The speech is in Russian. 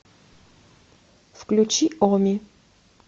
включи оми